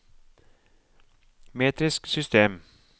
metrisk system